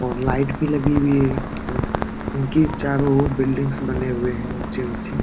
और लाइट भी लगी हुई है और इनकी चारों और बिल्डिंग्स भी बने हुई है ऊँची ऊँची।